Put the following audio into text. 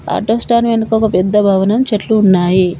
Auto stand వెనుక ఒక పెద్ద భవనం చెట్లు ఉన్నాయి.